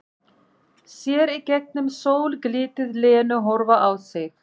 Sér í gegnum sólglitið Lenu horfa á sig.